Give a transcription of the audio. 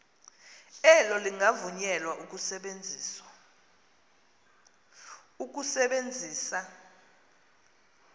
elo lingavunyelwa ukusebenzisa